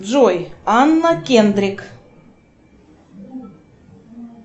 джой анна кендрик